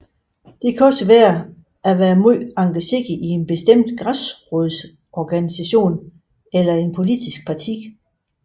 Det kan også være at være meget engageret i en bestemt græsrodsorganisation eller et politisk parti